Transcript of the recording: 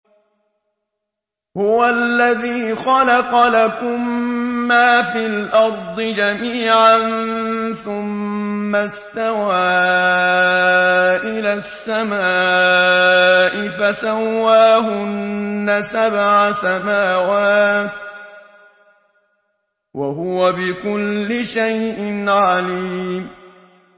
هُوَ الَّذِي خَلَقَ لَكُم مَّا فِي الْأَرْضِ جَمِيعًا ثُمَّ اسْتَوَىٰ إِلَى السَّمَاءِ فَسَوَّاهُنَّ سَبْعَ سَمَاوَاتٍ ۚ وَهُوَ بِكُلِّ شَيْءٍ عَلِيمٌ